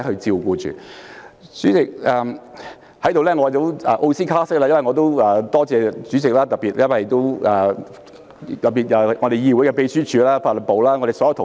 主席，我也要奧斯卡式特別多謝主席，還有議會的秘書處、法律事務部所有同事。